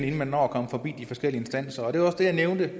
inden man når af komme forbi de forskellige instanser jeg nævnte